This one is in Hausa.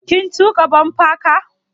Kin tuƙa bumper car?